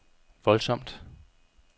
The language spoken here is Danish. voldsomt